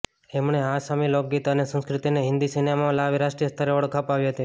એમણે આસામી લોકગીત અને સંસ્કૃતિને હિન્દી સિનેમામાં લાવી રાષ્ટ્રીય સ્તરે ઓળખ અપાવી હતી